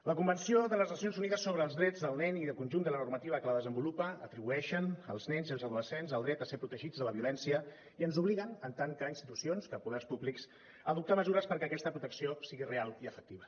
la convenció de les nacions unides sobre els drets del nen i el conjunt de la normativa que la desenvolupa atribueixen als nens i als adolescents el dret a ser protegits de la violència i ens obliguen en tant que institucions que poders públics a adoptar mesures perquè aquesta protecció sigui real i efectiva